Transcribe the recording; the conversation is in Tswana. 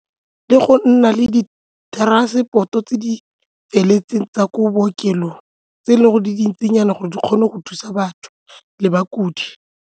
Ke go nna le di-transport-o tse di feletseng tsa ko bookelong tse e leng gore di dintsinyana gore di kgone go thusa batho le bakudi.